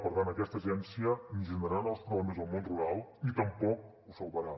per tant aquesta agència ni generarà nous problemes al món rural ni tampoc el salvarà